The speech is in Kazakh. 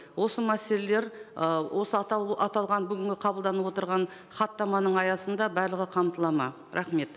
осы мәселелер ы осы аталған бүгінгі қабылданып отырған хаттаманың аясында барлығы қамталады ма рахмет